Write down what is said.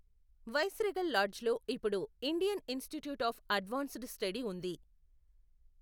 Viceregal లాడ్జ్లో ఇప్పుడు Indian institute of advanced study ఉంది.